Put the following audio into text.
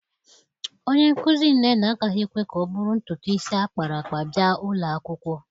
Onye nkuzi Nnenna agaghị ekwe ka ọ bụrụ ntutu isi akpara akpa bịa ụlọ akwụkwọ